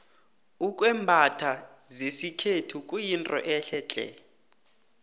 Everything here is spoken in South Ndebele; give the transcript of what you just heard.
ukwembatha zesikhethu kuyinto ehle tle